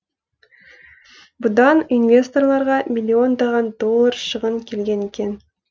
бұдан инвесторларға миллиондаған доллар шығын келген екен